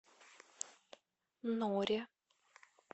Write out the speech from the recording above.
норе